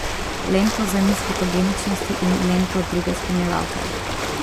Lento za miss fotogeničnosti in lento druge spremljevalke.